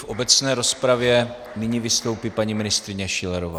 V obecné rozpravě nyní vystoupí paní ministryně Schillerová.